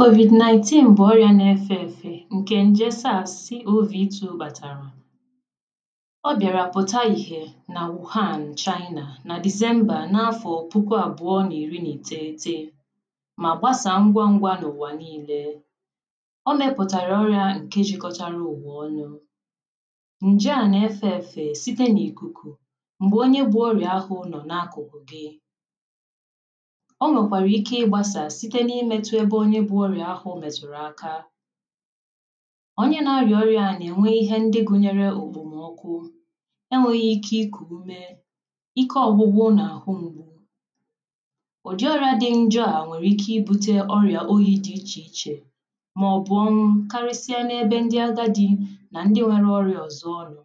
Covid 19 bụ ọrị̀ȧ na-efė efė ǹkè ǹje sȧȧ si̇ovìti̇ bàtàrà ọ bịȧrȧ pụ̀ta ìhè nà wùhàn chaịnà nà dizembȧ n’afọ̀ puku àbụ̀ọ n’ìri nà ìteghete mà gbasa ngwa ngwȧ n’ụ̀wà niilė o mėpụ̀tàrà ọrị̇ȧ ǹkeji̇kọ̇chȧrȧ ụ̀wè ọnụ̇ ǹji à na-efė efė site n’ìkùkù m̀gbè onye gbuò ọrị̀ȧ ahụ nọ̀ na-akụ̀bùbi onwèkwàrà ike ịgbȧsà site n’imetụ ebe onye bụ̇ orị̀à ahụ̇ mètụ̀rụ̀ aka onye nȧ-arị̀ọ̀ orị̀à nà enwe ihe ndị gụ̇nyere ògbòmọkụ enwėghi̇ ike ikù ume ike ọgbụgbụ n’àhụ m̀gbù ụ̀dị ọrȧ dị njo à nwèrè ike ibu̇tė ọrị̀à oyi̇ dị ichè ichè màọbụ̀ karịsịa n’ebe ndị agadi nà ndị nwere ọrị̀à ọ̀zọ ọrị̀à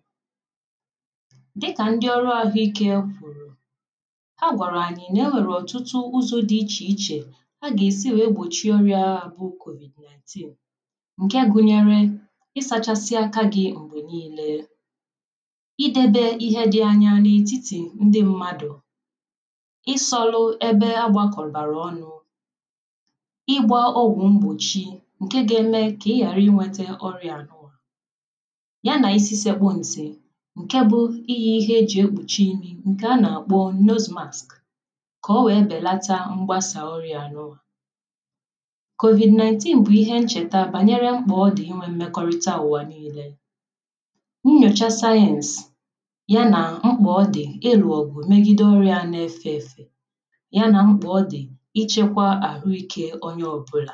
dịkà ndị ọrụ àhụike pụ̀rụ̀ a gà-èsi wèe gbòchie ọrịà ahụ̇ bụ̀ covid-19 ǹke gụnyere ị sȧchasịa aka gị̇ m̀gbè niilė idebé ihe di̇ anya n’ètitì ndị mmadụ̀ isòlù ebe agbakọ̀lbàrà ọnụ̇ ịgbȧ ogwù mgbòchi ǹke gȧ-eme kà ị ghàra inwėtė ọrịà a nụ̇wa ya nà isi sekpònǹtì ǹke bụ̇ ihe ihe e jì ekpùchi unì ǹkè a nà-àkpọ nnọzumàsị̀ covid 19 bụ ihe ncheta banyere mkpọ ọ dị inwe mmekọrịta awụ niile nyocha sayensị yana mkpọ ọ dị ịlụ obu megide ọrịa n’efe efe yana mkpọ ọ dị ichekwa ahụike onye ọbụla